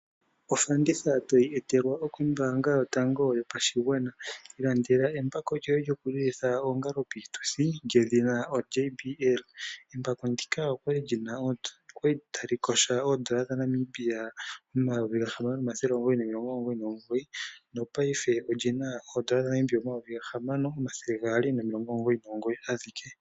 Ofanditha toyi etelwa kombaanga yotango yopashigwana, mono aakwashigwana taya vulu okulanda embako lyoJBL kombiliha lela. Embako okwali lyondando N$6999.00 paife otali landwa koN$6299.00 ashike. Ohali longithwa piitudhi ngaashi oohango opo li lile oongalo.